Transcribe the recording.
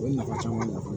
O ye nafa caman ye